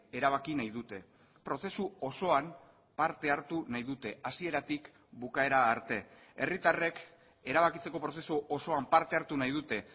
erabaki nahi dute prozesu osoan parte hartu nahi dute hasieratik bukaera arte herritarrek erabakitzeko prozesu osoan parte hartu nahi dute